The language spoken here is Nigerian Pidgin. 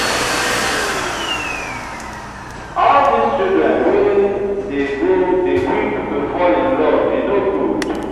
all dis children wey dey grow dey quick to fall in love e no good.